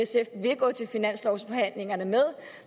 gået til finanslovsforhandlingerne med